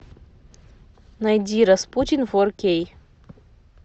найди распутин фор кей